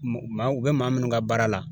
Maa u bɛ maa minnu ka baara la